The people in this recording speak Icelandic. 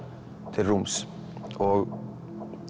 til rúms og